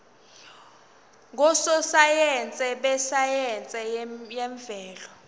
ngososayense besayense yemvelo